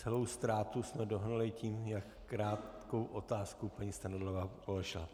Celou ztrátu jsme dohnali tím, jak krátkou otázku paní Strnadlová položila.